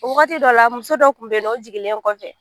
O wagati dɔ la muso dɔ tun bɛ nɔ o sigilen kɔfɛ